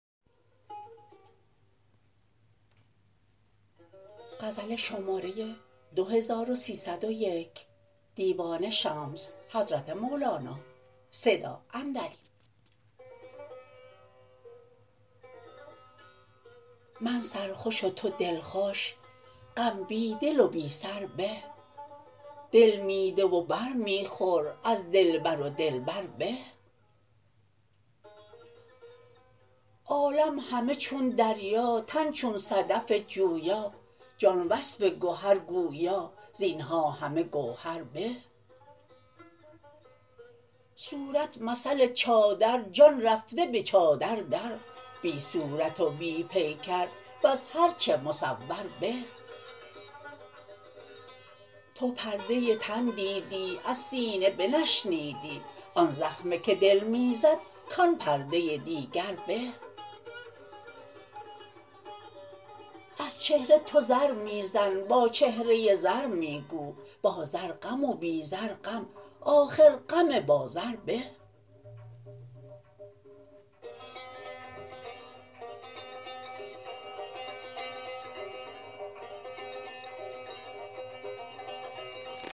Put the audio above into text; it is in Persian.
من سرخوش و تو دلخوش غم بی دل و بی سر به دل می ده و بر می خور از دلبر و دل بر به عالم همه چون دریا تن چون صدف جویا جان وصف گهر گویا زین ها همه گوهر به صورت مثل چادر جان رفته به چادر در بی صورت و بی پیکر وز هر چه مصور به تو پرده تن دیدی از سینه بنشنیدی آن زخمه که دل می زد کان پرده دیگر به از چهره تو زر می زن با چهره زر می گو با زر غم و بی زر غم آخر غم با زر به